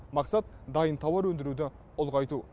мақсат дайын тауар өндіруді ұлғайту